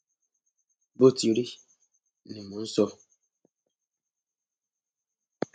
bó ti rí ni mò ń sọ